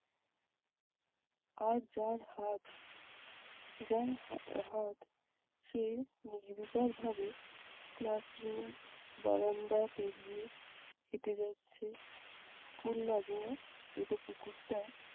আর যার হাত যার হা~ হাত সে নির্বিকার ভাবে class room বারান্দা পেরিয়ে হেঁটে যাচ্ছে school লাগোয়া এঁদো পুকুরটার